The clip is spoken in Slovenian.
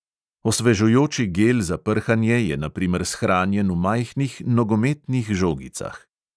Osvežujoči gel za prhanje je na primer shranjen v majhnih nogometnih žogicah.